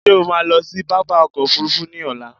Ṣé o ma lọ sí pápá ọkò òfurufú ni ọ̀la?